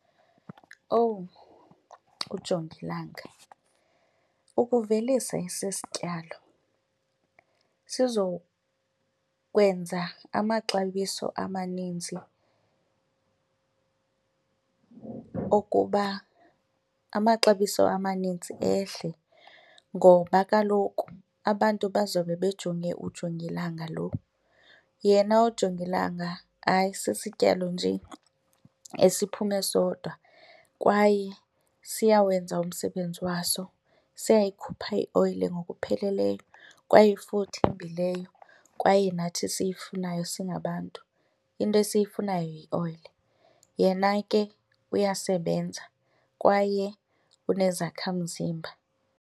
Owu, ujongilanga! Ukuvelisa esi sityalo sizokwenza amaxabiso amaninzi okuba amaxabiso amanintsi ehle ngoba kaloku abantu bazawube bejonge ujongilanga lo. Yena ujongilanga, hayi sisityalo nje esiphume sodwa kwaye siyawenza umsebenzi waso siyayikhupha ioyile ngokupheleleyo kwaye futhi leyo kwaye nathi siyifunayo singabantu, into esiyifumanayo yioyile. Yena ke uyasebenza kwaye unezakhamzimba.